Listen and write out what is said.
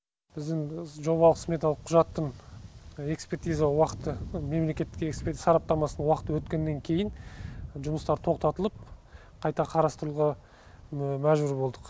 біздің жобалық сметалық құжаттың экспертиза уақыты мемлекеттік сараптамасының уақыты өткеннен кейін жұмыстар тоқтатылып қайта қарастыруға мәжбүр болдық